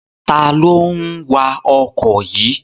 Ta ló ń wa ọkọ̀ yìí?